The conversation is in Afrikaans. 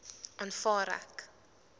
aanvaar ek